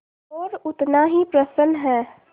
और उतना ही प्रसन्न है